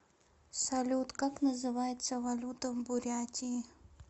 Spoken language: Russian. салют как называется валюта в бурятии